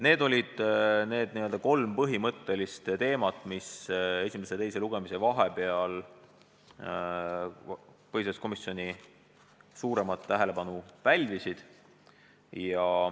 Need olid kolm põhimõttelist teemat, mis esimese ja teise lugemise vahel põhiseaduskomisjonis suuremat tähelepanu pälvisid.